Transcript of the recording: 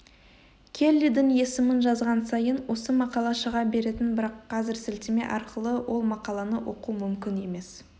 келлидің есімін жазған сайын осы мақала шыға беретін бірақ қазір сілтеме арқылы ол мақаланы оқу мүмкін емес